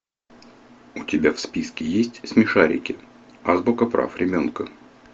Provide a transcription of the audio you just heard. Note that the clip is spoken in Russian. у тебя в списке есть смешарики азбука прав ребенка